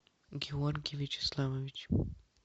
георгий вячеславович